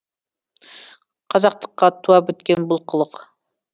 қазақтыққа туа біткен бұл қылық